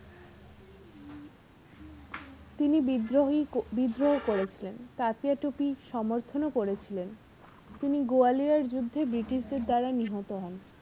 তিনি বিদ্রোহী বিদ্রোহ করেছিলেন তাতিয়াটোপি সমর্থন ও করেছিলেন তিনি গোয়ালিয়র যুদ্ধে british দের দ্বারা নিহত হন।